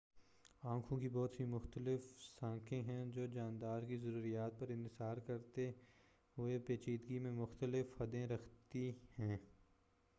آنکھوں کی بہت سی مختلف ساختیں ہیں جو جاندار کی ضروریات پر انحصار کرتے ہوئے پیچیدگی میں مختلف حدیں رکھتی ہیں